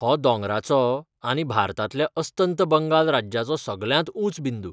हो दोंगराचो आनी भारतांतल्या अस्तंत बंगाल राज्याचो सगळ्यांत ऊंच बिंदू.